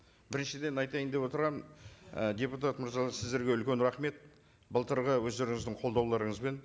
біріншіден айтайын деп отырғаным і депутат мырзалар сіздерге үлкен рахмет былтырғы өздеріңіздің қолдауларыңызбен